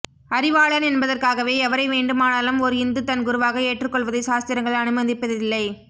அறிவாளன் என்பதற்காகவே எவரை வேண்டுமானாலும் ஓர் இந்து தன் குருவாக ஏற்றுக் கொள்வதைச் சாஸ்திரங்கள் அனுமதிப்பதில்லை